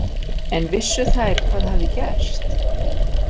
En vissu þær hvað hafði gerst?